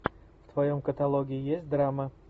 в твоем каталоге есть драма